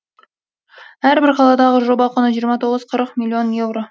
әрбір қаладағы жоба құны жиырма тоғыз қырық миллион еуро